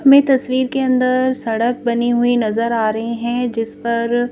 में तस्वीर के अंदर सड़क बनी हुई नजर आ रही है जिस पर--